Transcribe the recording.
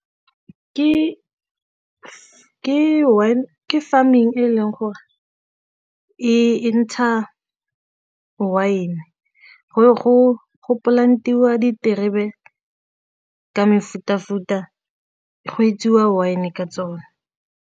Ke farming e leng gore e ntsha wine, go plant-iwa diterebe ka mefuta-futa go etsiwa wine ka tsone.